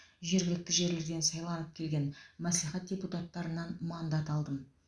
жергілікті жерлерден сайланып келген мәслихат депутаттарынан мандат алдым